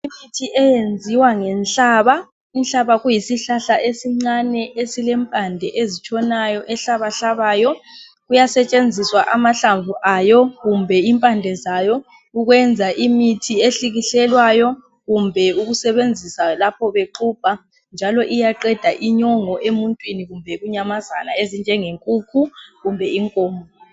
Imithi eyenziwa ngenhlaba , inhlaba kuyisihlahla esincane esilempande ezitshonayo ehlabahlabayo , kuyasetshenziswa amahlamvu ayo kumbe impande zayo ukwenza imithi ehlukihlelwayo kumbe ukusebenzisa lapho bexubha njalo iyaqeda inyongo emuntwini kumbe inyamazana ezinjenge nkukhu kumbe inkomo